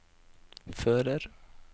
fører